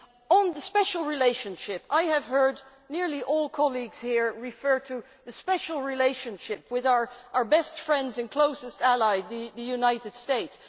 On the special relationship, I have heard nearly all colleagues here refer to the special relationship with our best friends and closest ally, the United States.